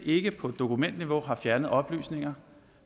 ikke på dokumentniveau har fjernet oplysninger